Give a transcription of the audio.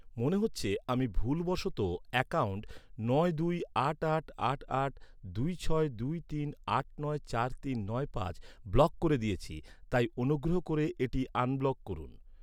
মনে হচ্ছে আমি ভুলবশত অ্যাকাউন্ট নয় দুই আট আট আট আট দুই ছয় দুই তিন আট নয় চার তিন নয় পাঁচ ব্লক করে দিয়েছি তাই অনুগ্রহ করে এটি আনব্লক করুন।